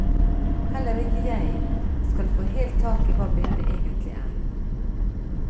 Heller ikke jeg skal få helt tak i hva bildet egentlig er.